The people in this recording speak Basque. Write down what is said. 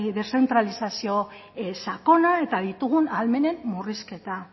deszentralizazio sakona eta ditugun ahalmenen murrizketa